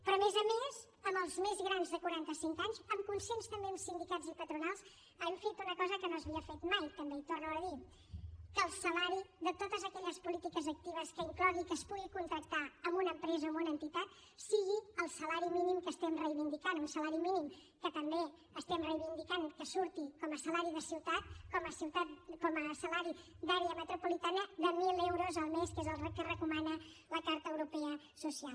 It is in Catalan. però a més a més amb els més grans de quaranta cinc anys amb consens també amb sindicats i patronals hem fet una cosa que no s’havia fet mai també i ho torno a dir que el salari de totes aquelles polítiques actives que incloguin que es pugui contractar amb una empresa o amb una entitat sigui el salari mínim que estem reivindicant un salari mínim que també estem reivindicant que surti com a salari de ciutat com a salari d’àrea metropolitana de mil euros el mes que és el que recomana la carta europea social